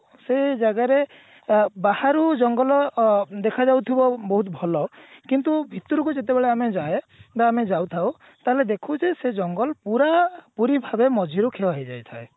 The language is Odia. ସେ ଜାଗାରେ ଅ ବାହାରୁ ଜଙ୍ଗଲ ଅ ଦେଖାଯାଉଥିବ ବହୁତ ଭଲ କିନ୍ତୁ ଭିତରକୁ ଯେତେବେଳେ ଆମେ ଯାଏ ବା ଆମେ ଯାଇଥାଉ ତାହେଲେ ଦେଖୁ ଯେ ସେ ଜଙ୍ଗଲ ପୁରା ପୁରୀ ଭାବେ ମଝିରୁ କ୍ଷୟ ହେଇ ଯାଇଥାଏ